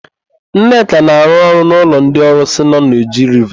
Nneka na-arụ ọrụ n'ụlọ ndị ọrụsị nọ na Oji Riva.